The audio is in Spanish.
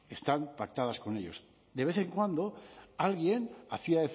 están pactadas con ellos de vez en cuando alguien hacía